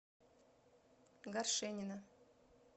горшенина